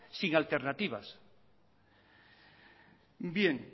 sin alternativa bien